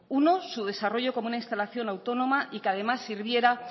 uno su desarrollo como una instalación autónoma y que además sirviera